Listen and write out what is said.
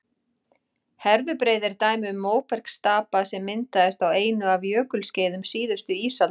herðubreið er dæmi um móbergsstapa sem myndaðist á einu af jökulskeiðum síðustu ísaldar